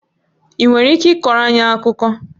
Ị nwere ike ịkọrọ anyị akụkọ?